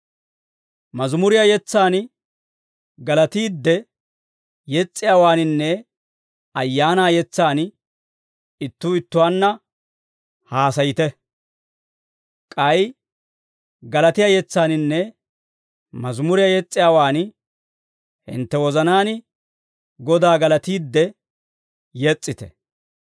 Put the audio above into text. Mazimuriyaa yetsaan, galatiidde yes's'iyaawaaninne ayaana yetsaan ittuu ittuwaanna haasayite; k'ay galatiyaa yetsaaninne mazimuriyaa yes's'iyaawaan hintte wozanaan Godaa galatiidde yes's'ite.